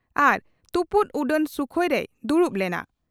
ᱟᱨ ᱛᱩᱯᱩᱫ ᱩᱰᱟᱹᱱ ᱥᱩᱠᱷᱚᱭ ᱨᱮᱭ ᱫᱩᱲᱩᱵ ᱞᱮᱱᱟ ᱾